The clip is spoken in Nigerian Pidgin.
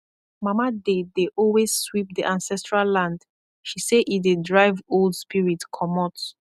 mama dey dey always sweep the ancestral land she say e dey drive old spirit commot